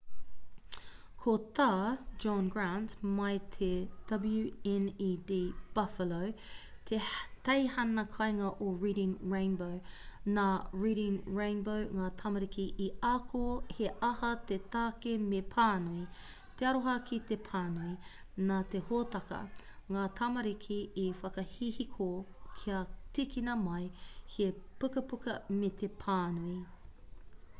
ko tā john grant mai i te wned buffalo te teihana kāinga o reading rainbow nā reading rainbow ngā tamariki i ako he aha te take me pānui,... te aroha ki te pānui - [nā te hōtaka] ngā tamariki i whakahihiko kia tīkina mai he pukapuka me te pānui.